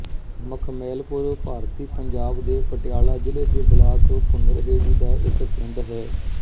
ਮਖਮੈਲਪੁਰ ਭਾਰਤੀ ਪੰਜਾਬ ਦੇ ਪਟਿਆਲਾ ਜ਼ਿਲ੍ਹੇ ਦੇ ਬਲਾਕ ਭੁਨਰਹੇੜੀ ਦਾ ਇੱਕ ਪਿੰਡ ਹੈ